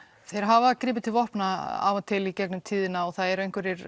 þeir hafa gripið til vopna af og til í gegnum tíðina og það eru einhverjir